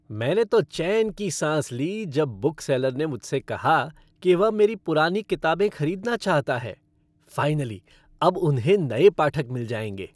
मैंने तो चैन की सांस ली जब बुकसेलर ने मुझसे कहा कि वह मेरी पुरानी किताबें खरीदना चाहता है। फ़ाइनली अब उन्हें नए पाठक मिल जाएंगे।